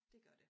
Det gør det